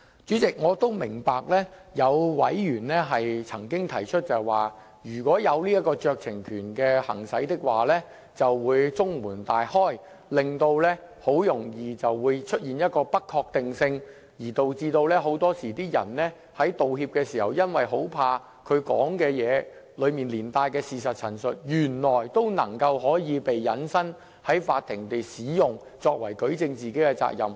主席，我也明白有委員曾經提出，如果容許裁斷者行使酌情權，就會中門大開，導致很容易便會出現不確定性，而導致很多人在道歉時，恐怕他所說的話中連帶的事實陳述，原來會被引申在法庭使用，作為舉證自己的法律責任。